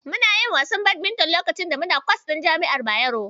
Muna yin wasan Badminton lakacin da muna kwatas ɗin jami'ar Bayero.